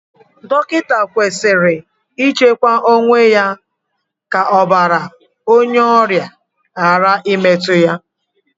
Dọkịta kwesịrị ichekwa onwe ya ka ọbàrà onye ọrịa ghara imetu ya.